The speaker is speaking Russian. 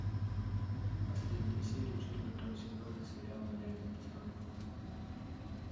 последняя серия четвертого сезона сериала реальные пацаны